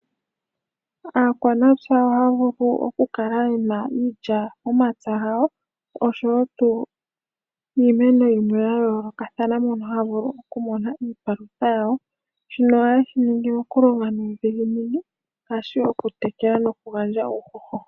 Aakwanatsa oha ya vulu oku kala yena iilya momapya gawo oshowo iimeno yimwe ya yolokathana mono haya vulu oku mona iipalutha yawo. Shino oha ye shi ningi oku longa nudhiginini ngashi oku tekela noku gandja uuhoho.